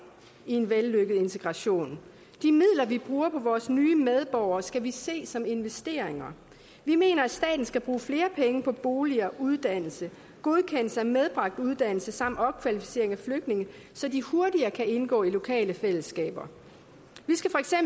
i en vellykket integration de midler vi bruger på vores nye medborgere skal vi se som investeringer vi mener at staten skal bruge flere penge på boliger uddannelse godkendelse af medbragt uddannelse samt opkvalificering af flygtninge så de hurtigere kan indgå i lokale fællesskaber